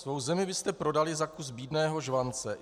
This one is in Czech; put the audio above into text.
Svou zemi byste prodali za kus bídného žvance.